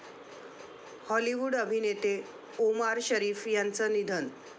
Hollywood अभिनेते Omar Sharif यांचं निधन